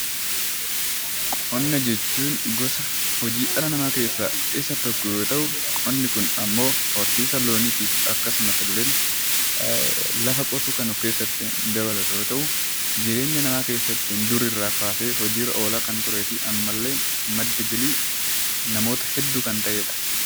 Qonna jechuun gosa hojii dhala namaa keessaa isa tokko yoo ta'u, qonni kun immoo horsiisa loonii fi lafa qotuu kan of keessatti dabalatu yoo ta'u, jireenya namaa keessatti durirraa kaasee hojiirra oolaa kan turee fi ammallee madda galii namoota hedduu kan ta'edha.